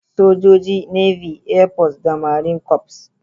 Sojoji, Navy, Air Force, da Marine Corps.